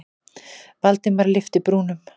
Valdimar lyfti brúnum.